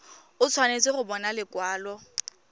o tshwanetse go bona lekwalo